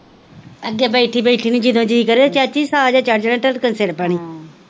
ਅੱਗੇ ਬੈਠੀ ਬੈਠੀ ਨੂੰ ਜਦੋਂ ਜੀ ਕਰੇ ਚਾਚੀ ਸਾਰੇ ਚੱਲ ਜਾਣੇ ਧੜਕਨ ਸੀੜ ਪੈਣੀ,